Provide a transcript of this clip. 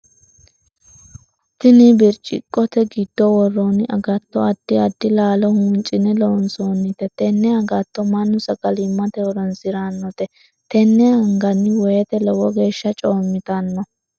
Tinni birciqote gido woroonni agatto addi addi laalo huuncine loonsoonnite. Tenne agatto mannu sagalimate horoonsiranote. Tenne anganni woyete lowo geesha coomitanno.